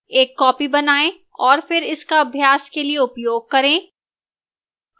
एक copy बनाएं और फिर इसका अभ्यास के लिए उपयोग करें